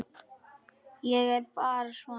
Ég er bara svona.